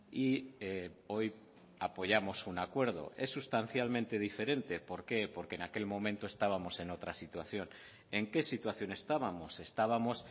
y hoy apoyamos un acuerdo es sustancialmente diferente por qué porque en aquel momento estábamos en otra situación en qué situación estábamos estábamos